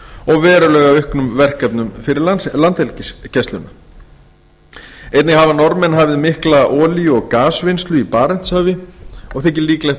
og verulega auknum verkefnum fyrir landhelgisgæsluna einnig hafa norðmenn hafið mikla olíu og gasvinnslu í barentshafi og þykir líklegt að